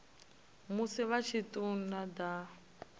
musi vha tshi ṱun ḓa